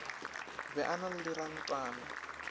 be a na le dirantana